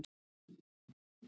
Höfðatorgi